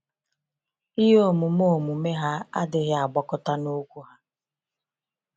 Ihe omume omume ha adịghị agbakọta na okwu ha.